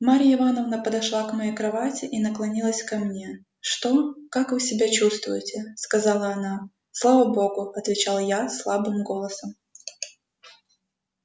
марья ивановна подошла к моей кровати и наклонилась ко мне что как вы себя чувствуете сказала она слава богу отвечал я слабым голосом